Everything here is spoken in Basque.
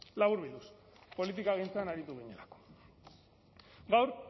laburbilduz politikagintzan aritu ginen gaur